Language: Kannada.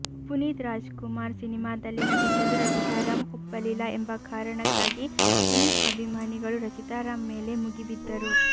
ಪುನೀತ್ ರಾಜ್ಕುಮಾರ್ ಸಿನಿಮಾದಲ್ಲಿ ನಟಿಸಲು ರಚಿತಾ ರಾಮ್ ಒಪ್ಪಲಿಲ್ಲ ಎಂಬ ಕಾರಣಕ್ಕಾಗಿ ಪುನೀತ್ ಅಭಿಮಾನಿಗಳು ರಚಿತಾ ರಾಮ್ ಮೇಲೆ ಮುಗಿಬಿದ್ದರು